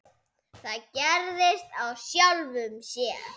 Það gerðist af sjálfu sér.